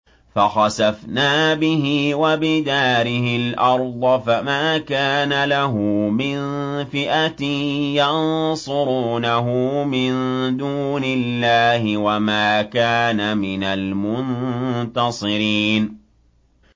فَخَسَفْنَا بِهِ وَبِدَارِهِ الْأَرْضَ فَمَا كَانَ لَهُ مِن فِئَةٍ يَنصُرُونَهُ مِن دُونِ اللَّهِ وَمَا كَانَ مِنَ الْمُنتَصِرِينَ